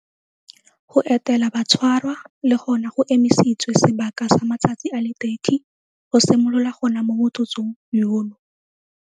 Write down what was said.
Go etela batshwarwa le gona go emisitswe sebaka sa matsatsi a le 30 go simolola gona mo motsotsong yono.